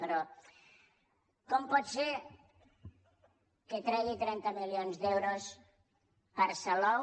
però com pot ser que tregui trenta milions d’euros per a salou